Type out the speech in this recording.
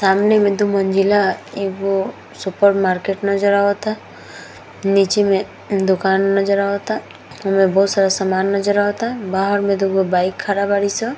सामने मे दो मंजिला एगो सुपर मर्कट नज़र आवता | नीचे मे दुकान नज़र आवाता | ऊ मे बहुत सारा सामान नज़र आवता | बाहर में दूगो बाइक खड़ा बारी स।